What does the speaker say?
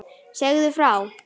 Segðu frá.